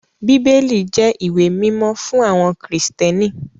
Bíbélì jẹ́ ìwé mímọ́ fún àwọn Kristẹni.